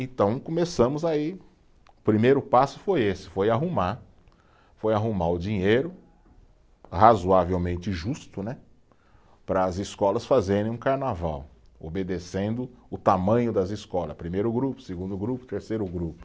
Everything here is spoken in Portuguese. Então começamos aí, o primeiro passo foi esse, foi arrumar, foi arrumar o dinheiro, razoavelmente justo né, para as escolas fazerem um carnaval, obedecendo o tamanho das escolas, primeiro grupo, segundo grupo, terceiro grupo.